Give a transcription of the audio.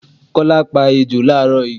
Kọ́lá pá ejò làárọ̀ yii